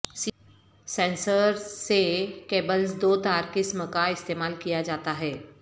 sensor سے cables دو تار قسم کا استعمال کیا جاتا ہے